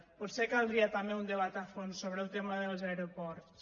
potser caldria també un debat a fons sobre el tema dels aeroports